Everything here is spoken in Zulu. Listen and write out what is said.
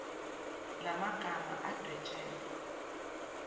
la magama adwetshelwe